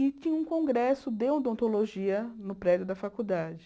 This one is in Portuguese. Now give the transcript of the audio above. E tinha um congresso de odontologia no prédio da faculdade.